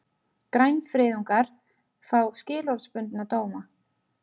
Grænfriðungar fá skilorðsbundna dóma